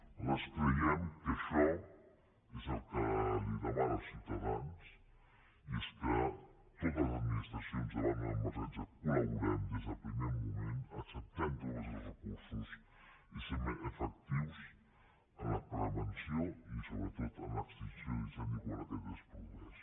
nosaltres creiem que això és el que li demanen els ciutadans i és que totes les administracions davant d’una emergència col·laborem des del primer moment acceptem tots els recursos i siguem més efectius en la prevenció i sobretot en l’extinció de l’incendi quan aquest es produeix